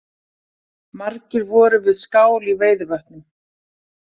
Margir voru við skál í Veiðivötnum